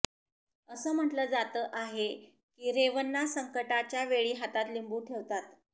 असं म्हटलं जात आहे की रेवन्ना संकटाच्या वेळी हातात लिंबू ठेवतात